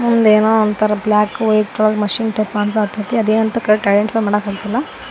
ಒಂದ್ ಏನೋವಂತರ black white ಒಳಗ್ ಮಷೀನ್ ಟೈಪ್ ಕಾಣ್ಸಾತ್ತೈತಿ ಅದ್ ಏನಂತ ಕರೆಕ್ಟ್ ಆಗಿ ಐಡೆಂಟಿಫೈ ಮಾಡ್ಲಾಕ್ ಆಯ್ತಿಲ್ಲ.